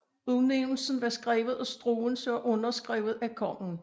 Udnævnelsen var skrevet af Struensee og underskrevet af kongen